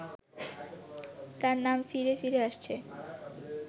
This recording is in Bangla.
তাঁর নাম ফিরে ফিরে আসছে